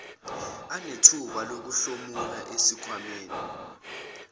anethuba lokuhlomula esikhwamaneni